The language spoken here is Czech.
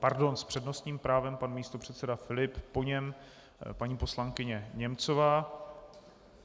Pardon, s přednostním právem pan místopředseda Filip, po něm paní poslankyně Němcová.